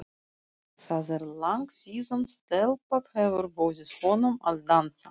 Það er langt síðan stelpa hefur boðið honum að dansa.